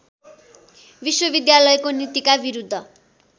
विश्वविद्यालयको नीतिका विरुद्ध